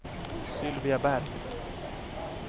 Sylvia Berg